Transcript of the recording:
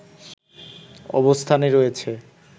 অবস্থানে রয়েছে